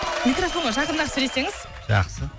микрофонға жақындап сөйлесеңіз жақсы